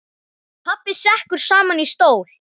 Pabbi sekkur saman í stól.